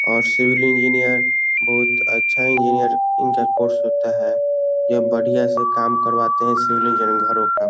और civil engineer बहुत अच्छा इंजिनियर होता है। उनका कोर्स होता है। और बढ़िया सा काम करवाते है। Civil engineer घरोका--